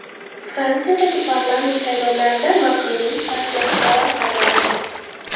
Fransiyadagi parlament saylovlarida Makronning partiyasi g‘alaba qozondi.